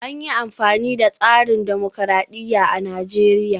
An yi amfani da tsarin dimokuradiyya a Najeriya